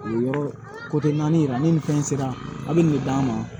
O yɔrɔ naani yira ni nin fɛn sera a bɛ nin de d'an ma